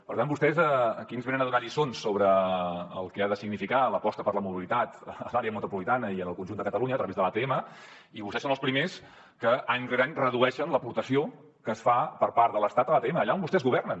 per tant vostès aquí ens venen a donar lliçons sobre el que ha de significar l’aposta per la mobilitat a l’àrea metropolitana i en el conjunt de catalunya a través de l’atm i vostès són els primers que any rere any redueixen l’aportació que es fa per part de l’estat a l’atm allà on vostès governen